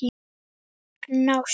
En ást?